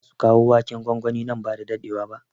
Kamfanin zasu kawo waken gwangwani nan ba da daɗewa ba